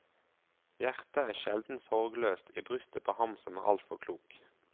Hjertet er sjelden sorgløst i brystet på ham som er altfor klok.